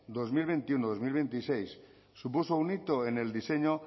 dos mil veintiuno dos mil veintiséis supuso un hito en el diseño